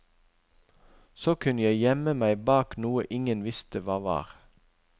Så kunne jeg gjemme meg bak noe ingen visste hva var.